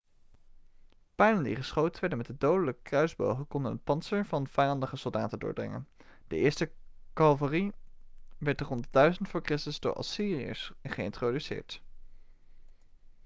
pijlen die geschoten werden met de dodelijke kruisbogen konden het pantser van vijandige soldaten doordringen de eerste calvarie werd rond 1000 voor christus door de assyriërs geïntroduceerd